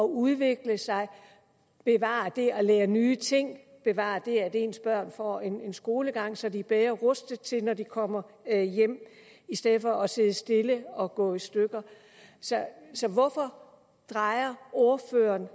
udvikle sig bevare det at lære nye ting og bevare det at ens børn får en skolegang så de er bedre rustet når de kommer hjem i stedet for at sidde stille og gå i stykker så så hvorfor drejer ordføreren